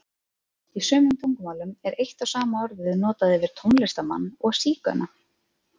Í sumum tungumálum er eitt og sama orðið notað yfir tónlistarmann og sígauna.